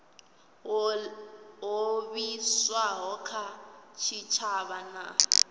ho livhiswaho kha tshitshavha na